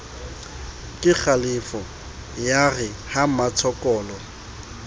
kekgalefo ya re ha mmatshokolo